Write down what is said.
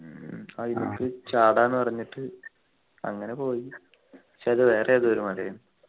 ചാടാ ന്നു പറഞ്ഞിട്ട് അങ്ങനെ പോയി ക്ഷേ അത് വേറെ ഏതോ ഒരു മല ആയിരുന്നു